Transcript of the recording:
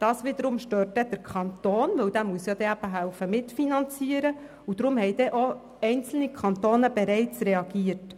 Das wiederum stört den Kanton, weil er eben mitfinanzieren muss, und deshalb haben bereits einige Kantone reagiert.